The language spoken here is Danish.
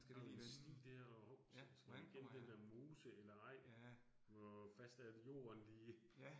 Så har vi en sti dér, og hov, så skal jeg gennem den dér mose eller ej. Hvor fast er al jorden lige